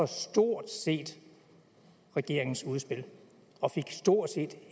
stort set regeringens udspil og fik stort set